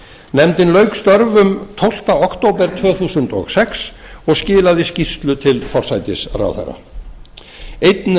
nefndin lauk störfum tólfti október tvö þúsund og sex og skilaði skýrslu til forsætisráðherra einn